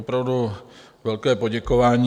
Opravdu velké poděkování.